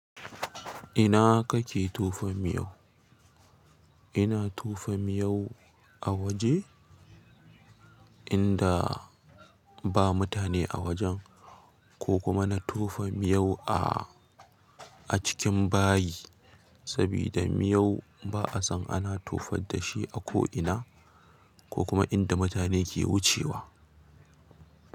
Ina kake tofa miyau? Ina tofa miyau a waje inda ba mutane a wajen ko kuma na tofa miyau a, a cikin bayi sabida miyau ba'a san ana tofad da shi a ko ina ko kuma inda mutane ke wucewa.